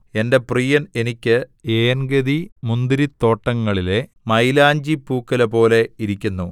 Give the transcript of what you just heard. എന്റെ പ്രിയൻ എനിക്ക് ഏൻഗെദി മുന്തിരിത്തോട്ടങ്ങളിലെ മയിലാഞ്ചിപ്പൂക്കുലപോലെ ഇരിക്കുന്നു